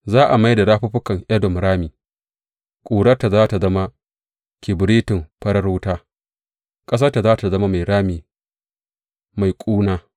Za a mai da rafuffukan Edom rami, ƙurarta za tă zama kibiritun farar wuta; ƙasarta za tă zama rami mai ƙuna!